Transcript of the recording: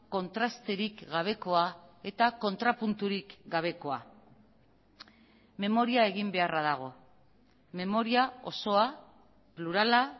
kontrasterik gabekoa eta kontrapunturik gabekoa memoria egin beharra dago memoria osoa plurala